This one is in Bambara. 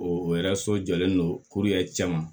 O yɛrɛ so jɔlen don cɛman